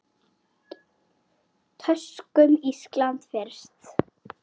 Tökum Ísland fyrst.